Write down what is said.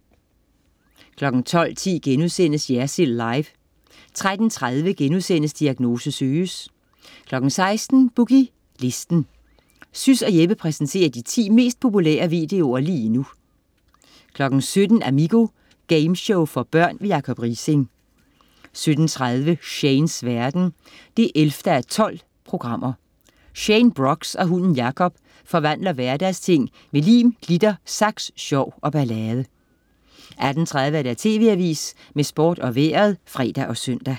12.10 Jersild Live* 13.30 Diagnose Søges* 16.00 Boogie Listen. Sys og Jeppe præsenterer de 10 mest populære videoer lige nu 17.00 Amigo. Gameshow for børn. Jacob Riising 17.30 Shanes verden 11:12. Shane Brox og hunden Jacob forvandler hverdagsting med lim, glitter, saks, sjov og ballade 18.30 TV AVISEN med Sport og Vejret (fre og søn)